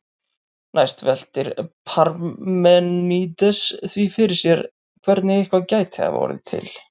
Næst veltir Parmenídes því fyrir sér hvernig eitthvað gæti hafa orðið til.